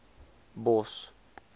bos